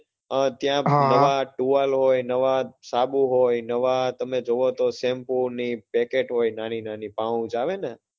ત્યાં નવા towal હોય, નવા સાબુ હોય, નવા તમે જોવો તો shampoo ની packet હોય નાની નાની pouch આવે ને